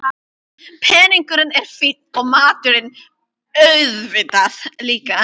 Peningurinn er fínn og maturinn auðvitað líka.